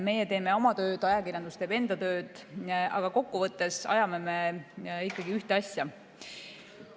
Meie teeme oma tööd, ajakirjandus teeb enda tööd, aga kokkuvõttes ajame ikkagi ühte asja.